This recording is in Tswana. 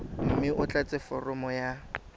mme o tlatse foromo ya